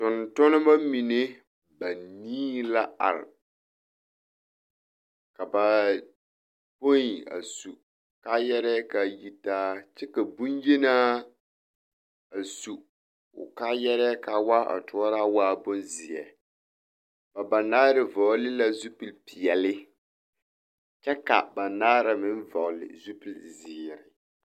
Tontonema mine banii la are ka bapoi a su kaayarɛɛ k'a yitaa kyɛ ka boŋyenaa a su o kaayarɛɛ kaa waa a toɔraa waa bonzeɛ, ba banaare vɔgele la zupili peɛle kyɛ ka banaare meŋ vɔgele zupili zeere.